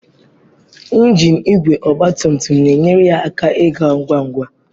Ngiin igwe ọgba tum tum na-enyere ya aka ịga ngwa ngwa.